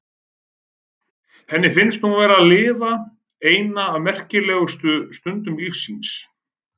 Henni finnst hún vera að lifa eina af merkilegustu stundum lífs síns.